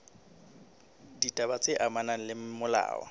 ditaba tse amanang le molao